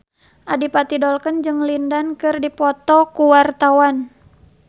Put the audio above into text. Adipati Dolken jeung Lin Dan keur dipoto ku wartawan